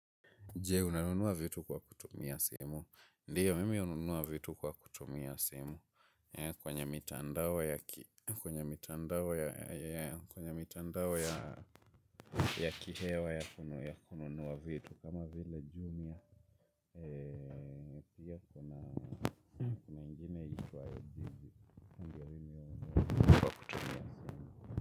Je, unanunua vitu kwa kutumia simu. Ndiyo, mimi hununua vitu kwa kutumia simu. Kwenye mitandao ya kihewa ya kununua vitu. Kama vile jumia pia kuna ingine itwa yojiji.